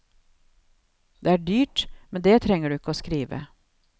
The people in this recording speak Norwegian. Det er dyrt, men det trenger du ikke å skrive.